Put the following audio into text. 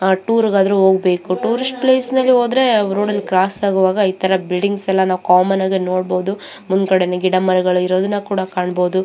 ಆ ಟೂರ್ ಗಾದ್ರು ಹೋಗಬೇಕು ಟೂರಿಸ್ಟ್ ಪ್ಲೇಸ್ ನಲ್ಲಿ ಹೋದ್ರೆ ಅವ್ರು ರೋಡ್ ಅಲ್ಲಿ ಕ್ರಾಸ್ ಆಗುವಾಗ ಇತರ ಬಿಲ್ಡಿಂಗ್ ಎಲ್ಲಾ ಕಾಮನ್ ನಾಗೆ ನೋಡ್ಬೋದು ಮುಂದಗಡೇನೇ ಗಿಡಮರಗಳು ಇರೋದನ್ನುಕೂಡ ಕಣ್ಬೊದು.